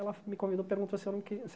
Ela me convidou perguntou se eu não queria